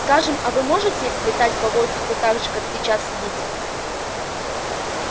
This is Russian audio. скажем а вы можете летать по воздуху так же как сейчас сидите